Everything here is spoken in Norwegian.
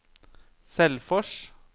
Selfors